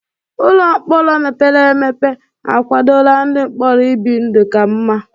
Ụlọ mkpọrọ mepere emepe akwadola ndị mkpọrọ ibi ndụ ka mma.